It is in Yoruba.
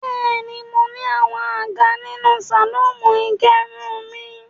Bẹ́ẹ̀ni, mo ní àwọn àga nínú sàlọ́ọ̀nù ìgẹrun mi.